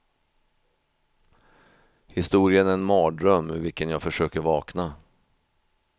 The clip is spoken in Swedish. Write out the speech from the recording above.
Historien är en mardröm ur vilken jag försöker vakna.